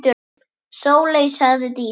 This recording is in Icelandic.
Sóley, sagði Dísa.